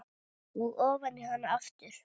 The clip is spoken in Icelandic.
Og ofan í hana aftur.